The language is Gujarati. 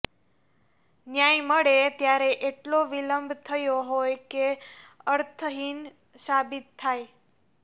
ન્યાય મળે ત્યારે એટલો વિલંબ થયો હોય કે અર્થહિન સાબિત થાય